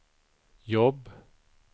jobb